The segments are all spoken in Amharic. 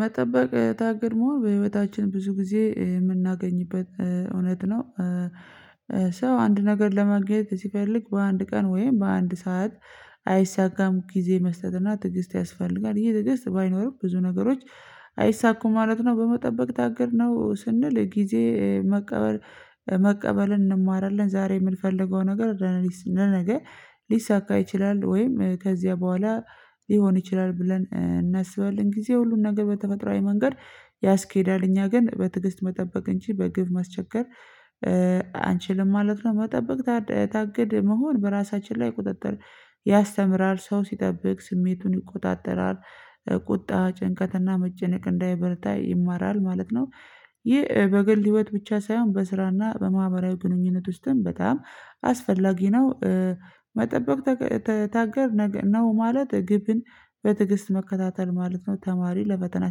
መጠበቅ ታጋሽ መሆን በህይወታችን ብዙ ጊዜ የምናገኝበት እውነት ነው። ሰው አንድ ነገር ለማግኘት ሲፈልግ በአንድ ቀን ወይም በአንድ ሰዓት አይሳካም ጊዜ መስጠትና ትዕግስት ያስፈልጋል። ይሄ ትግስት ባይኖር ብዙ ነገሮች አይሳኩም ማለት ነው። በመጠበቅ ታገልነው ስንል ጊዜ መቀበል መቀበልን እንማራለን። ዛሬ የምንፈልገው ነገር ለነገ ሊሳካ ይችላል ወይም ከዚያ በኋላ ሊሆን ይችላል ብለን እናስባለን ጊዜ ሁሉን ነገር በተፈጥሯዊ መንገድ ያስኬዳል። እኛ ግን በትዕግስት መጠበቅ እንጂ በግድ ማስቸገር የለብንም አንችልም ማለት ነው። መጠበቅ ታገድ መሆን በራሳችን ላይ ቁጥጥር ያስተምራል ሰው ሲጠብቅ ስሜቱን ይቆጣጠራል። ቁጣ ጭንቀትና መጨነቅ እንዳይበዛ ይማራል ማለት ነው። ይህ በግል ህይወት ብቻ ሳይሆን በስራና በማህበራዊ ግንኙነት ውስጥም በጣም አስፈላጊ ነው። መጠበቅ ታጋሽ ነው ማለት ግብን በትዕግስት መከታተል ማለት ነው። ተማሪ ለፈተና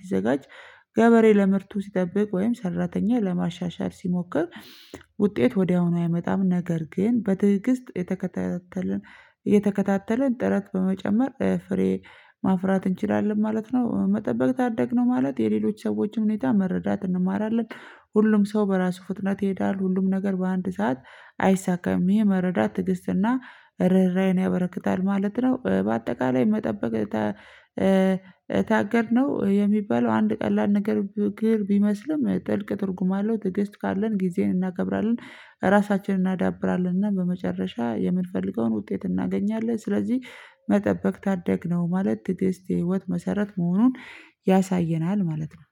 ሲዘጋጅ ገበሬ ለምርቱ ሲጠብቅ ወይም ሰራተኛ ለማሻሻል ሲሞክር ውጤት ወዲያውኑ አያመጣም ነገር ግን በትዕግስት እየተከታተልን ጥረት በመጨመር ፍሬ ማፍራት እንችላለን ማለት ነው። መጠበቅ ታደግን ማለት የሌሎች ሰዎችን ሁኔታ መረዳት እንማራለን። ሁሉም ሰው በራሱ ፍጥነት ይሄዳል ሁሉም ነገር በአንድ ሰዓት አይሳካም ይህ መረዳት ትዕግስትና ርህራሄን ያበረክታል ማለት ነው። በአጠቃላይ መጠበቅ ታገድነው የሚባለው አንድ ቀላል ነገር ቢመስልም ጥልቅ ትርጉም አለው። ትዕግስት ካለን ጊዜን እናከብራለን ራሳችንን እናዳብራለን እና በመጨረሻ የምንፈልገውን ውጤት እናገኛለን። ስለዚህ መጠበቅ ታደግነው ማለት ትግስት የህይወት መሰረት መሆኑን ያሳየናል ማለት ነው።